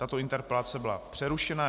Tato interpelace byla přerušena.